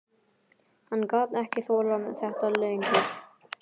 Hann gat ekki þolað þetta lengur.